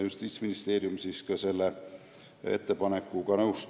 Justiitsministeerium oli selle ettepanekuga nõus.